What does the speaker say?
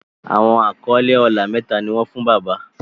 Awọn akọle ọlá méta ní wón fún bàbá.